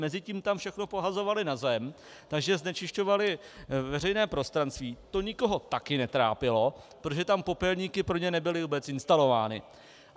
Mezitím tam všechno pohazovali na zem, takže znečišťovali veřejné prostranství - to nikoho taky netrápilo -, protože tam popelníky pro ně nebyly vůbec instalovány.